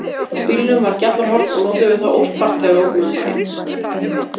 Á bílnum var gjallarhorn og notuðum við það óspart þegar við ókum um bæinn.